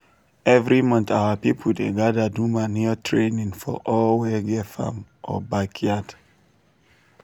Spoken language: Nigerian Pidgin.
every month our people dey gather do manure training for all wey get farm or backyard.